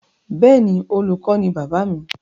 Bẹ́ẹ̀ni, Olùkọ ni bàbáà mi.